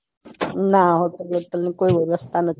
ના